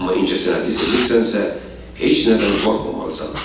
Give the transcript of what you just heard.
Amma incəsənəti sevirsənsə, heç nədən qorxmamalısan.